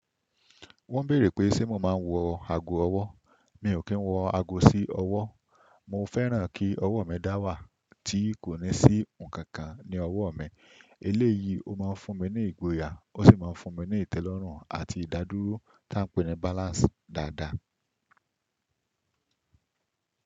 Wọ́n bèèrè pé ṣé mo máa ń wọ ago ọwọ́. Mi ò kí ń wọ ago sí ọwọ́. Mo fẹ́ràn kí ọwọ́ mi dá wà tí kò ní sí nǹkan kan ní ọwọ́ mi. Eléyìí ó máa ń fún mi ní ìgboyà, ó sì máa ń fún mi ní ìtẹ́lọ́rùn àti ìdádúró tí à ń pè ní balance dáadáa.